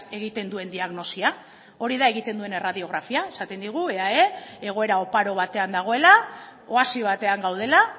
egiten duen diagnosia hori da egiten duen erradiografia esaten digu eae egoera oparo batean dagoela oasi batean gaudela